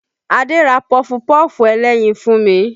Adé ra pọfupọ́ọ̀fù ẹlẹ́yin fún mi